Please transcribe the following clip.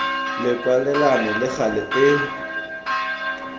le kwalelano le gale e